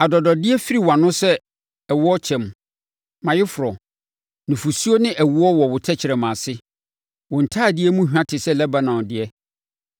Adɔdɔdeɛ firi wʼano sɛ ɛwokyɛm, mʼayeforɔ; nufosuo ne ɛwoɔ wɔ wo tɛkrɛma ase. Wo ntadeɛ mu hwa te sɛ Lebanon deɛ.